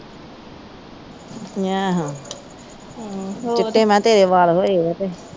ਆਹੋ ਚਿੱਟੇ ਮੈ ਕਿਹਾ ਤੇਰੇ ਵਾਲ ਹੋਏ ਆ ਤੇ